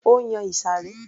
Ó yan ìsàré